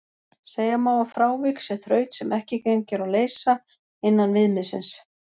Segja má að frávik sé þraut sem ekki gengur að leysa innan viðmiðsins.